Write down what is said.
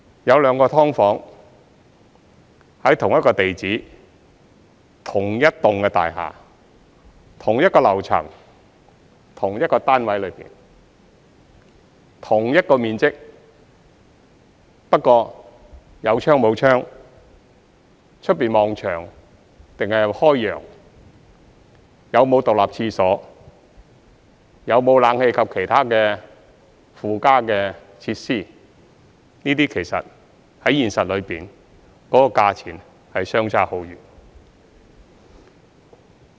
有兩個"劏房"，在同一個地址、同一幢大廈、同一個樓層、同一個單位內、同一個面積，但有窗和沒有窗、外面望牆壁或是開揚、有沒有獨立廁所、有沒有冷氣及其他附加的設施，這些其實在現實當中，價錢相差很遠。